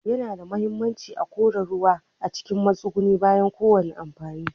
Yana da muhimmanci a kora ruwa cikin matsugunni bayan kowane amfani.